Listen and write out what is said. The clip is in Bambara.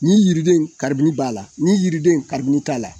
Nin yiriden in karibini b'a la nin yiriden in karibini t'a la